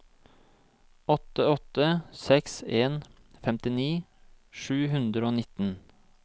åtte åtte seks en femtini sju hundre og nitten